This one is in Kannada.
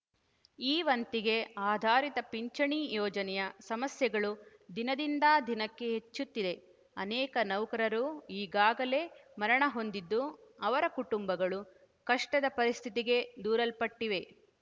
ಈ ವಂತಿಗೆ ಆಧಾರಿತ ಪಿಂಚಣಿ ಯೋಜನೆಯ ಸಮಸ್ಯೆಗಳು ದಿನದಿಂದ ದಿನಕ್ಕೆ ಹೆಚ್ಚುತ್ತಿದೆ ಅನೇಕ ನೌಕರರು ಈಗಾಗಲೇ ಮರಣ ಹೊಂದಿದ್ದು ಅವರ ಕುಟುಂಬಗಳು ಕಷ್ಟದ ಪರಿಸ್ಥಿತಿಗೆ ದೂರಲ್ಪಟ್ಟಿವೆ